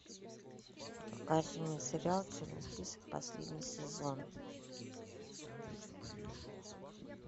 покажи мне сериал черный список последний сезон